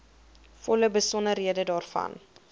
volle besonderhede daarvan